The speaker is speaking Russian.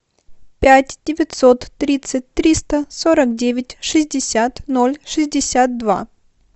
пять девятьсот тридцать триста сорок девять шестьдесят ноль шестьдесят два